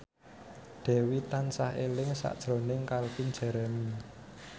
Dewi tansah eling sakjroning Calvin Jeremy